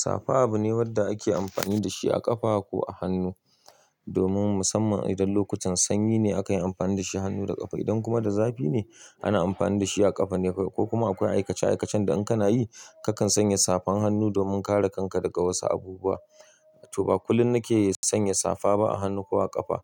Safa abu ne wadda ake amfani da shi a ƙafa ko a hannu domin musamman idan lokutan sanyi ne aka yi amfani da shi a hannu da ƙafa. Idan kuma da zafi ne ana amfani da shi a ƙafa ne kawai. Ko kuma akwai aikace aikacen da in kana yi kakan sanya safan hannu domin kare kanka daga wasu abubuwa. To ba kullum na ke sanya safa ba a hannu ko a ƙafa.